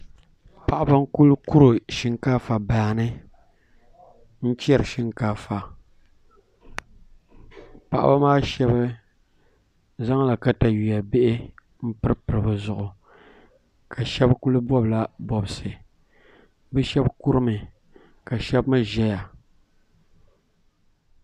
Paɣiba n-kuli kuri shiŋkaafa baa ni n-chɛri shiŋkaafa Paɣiba maa shɛba zaŋla takayua bihi m-piripiri bɛ zuɣu ka shɛba kuli bɔbila bɔbisi bɛ shɛba kurimi ka shɛba mi ʒeya